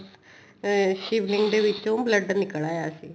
ਇਹ ਸ਼ਿਵ ਲਿੰਗ ਦੇ ਵਿਚੋਂ ਮਤਲਬ blood ਨਿਕਲ ਆਇਆ ਸੀ